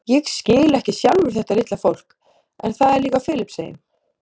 Ég skil ekki sjálfur þetta litla fólk en það er líka á Filippseyjum.